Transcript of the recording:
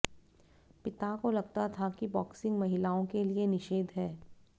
पिता को लगता था कि बॉक्सिंग महिलाओं के लिए निषेध है